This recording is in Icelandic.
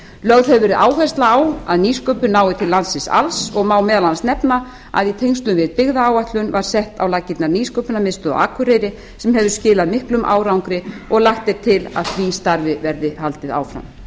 lögð hefur verið áhersla á að nýsköpun nái til landsins alls og má meðal annars nefna að í tengslum við byggðaáætlun var sett á laggirnar nýsköpunarmiðstöð á akureyri sem hefur skilað miklum árangri og lagt er til að því starfi verði haldið áfram